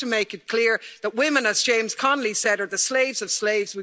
We have to make it clear that women, as James Connolly said, are the slaves of slaves'.